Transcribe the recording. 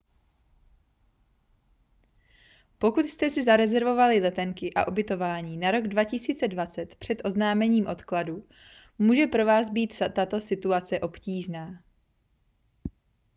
pokud jste si zarezervovali letenky a ubytování na rok 2020 před oznámením odkladu může pro vás být tato situace obtížná